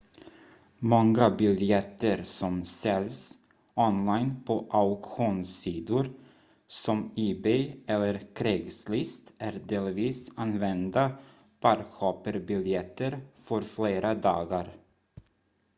många biljetter som säljs online på auktionssidor som ebay eller craigslist är delvis använda park-hopper-biljetter för flera dagar